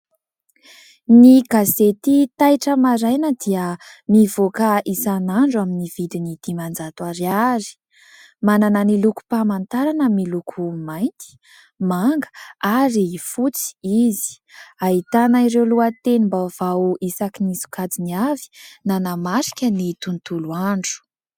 Ny gazety " Taitra Maraina " dia mivoaka isan'andro amin'ny vidiny dimanjato ariary, manana ny lokom-pamantarana miloko mainty, manga ary fotsy izy, ahitana ireo lohatenim-baovao isaky ny sokajiny avy nanamarika ny tontolo andro.